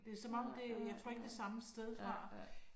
Det som om det, jeg tror ikke, det er samme sted fra